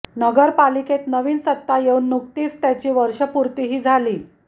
नगरपालिकेत नवीन सत्ता येऊन नुकतीच त्याची वर्षपूर्तीही झाली